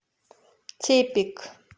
тепик